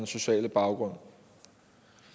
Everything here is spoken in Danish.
sociale baggrund